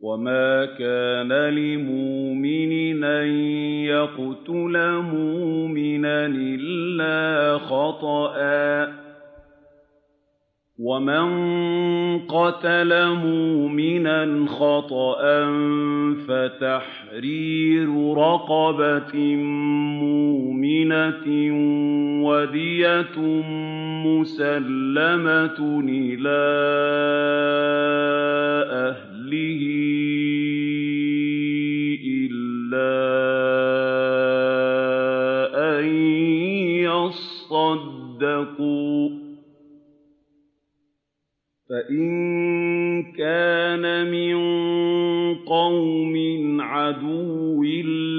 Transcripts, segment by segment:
وَمَا كَانَ لِمُؤْمِنٍ أَن يَقْتُلَ مُؤْمِنًا إِلَّا خَطَأً ۚ وَمَن قَتَلَ مُؤْمِنًا خَطَأً فَتَحْرِيرُ رَقَبَةٍ مُّؤْمِنَةٍ وَدِيَةٌ مُّسَلَّمَةٌ إِلَىٰ أَهْلِهِ إِلَّا أَن يَصَّدَّقُوا ۚ فَإِن كَانَ مِن قَوْمٍ عَدُوٍّ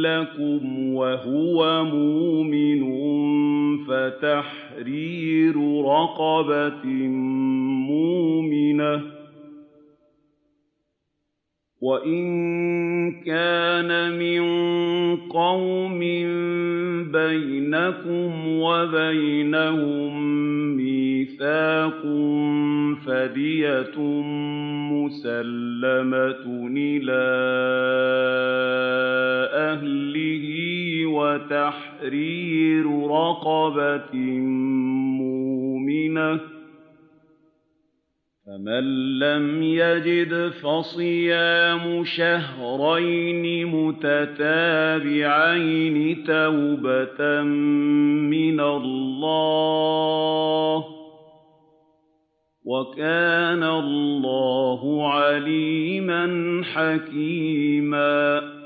لَّكُمْ وَهُوَ مُؤْمِنٌ فَتَحْرِيرُ رَقَبَةٍ مُّؤْمِنَةٍ ۖ وَإِن كَانَ مِن قَوْمٍ بَيْنَكُمْ وَبَيْنَهُم مِّيثَاقٌ فَدِيَةٌ مُّسَلَّمَةٌ إِلَىٰ أَهْلِهِ وَتَحْرِيرُ رَقَبَةٍ مُّؤْمِنَةٍ ۖ فَمَن لَّمْ يَجِدْ فَصِيَامُ شَهْرَيْنِ مُتَتَابِعَيْنِ تَوْبَةً مِّنَ اللَّهِ ۗ وَكَانَ اللَّهُ عَلِيمًا حَكِيمًا